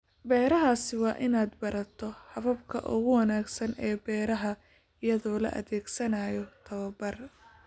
Beeraha Sii wad inaad barato hababka ugu wanaagsan ee beeraha iyadoo la adeegsanayo tababar.